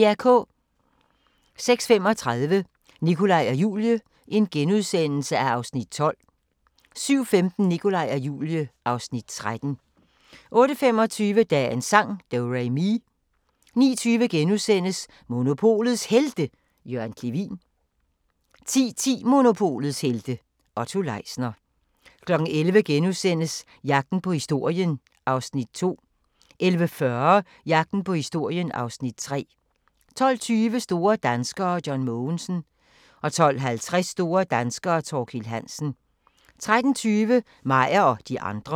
06:35: Nikolaj og Julie (Afs. 12)* 07:15: Nikolaj og Julie (Afs. 13) 08:25: Dagens sang: Do-re-mi 09:20: Monopolets Helte – Jørgen Clevin * 10:10: Monopolets helte - Otto Leisner 11:00: Jagten på historien (Afs. 2)* 11:40: Jagten på historien (Afs. 3) 12:20: Store danskere: John Mogensen 12:50: Store danskere: Thorkild Hansen 13:20: Meyer og de andre